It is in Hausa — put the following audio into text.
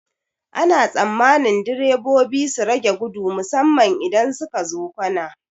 Ana tsammanin direbobi su rage gudu musamman idan sukazo kwana.